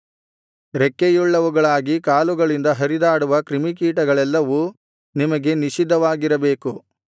ರೆಕ್ಕೆಯುಳ್ಳವುಗಳಾಗಿ ಕಾಲುಗಳಿಂದ ಹರಿದಾಡುವ ಕ್ರಿಮಿಕೀಟಗಳೆಲ್ಲವೂ ನಿಮಗೆ ನಿಷಿದ್ಧವಾಗಿರಬೇಕು